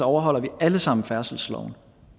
overholder vi alle sammen færdselsloven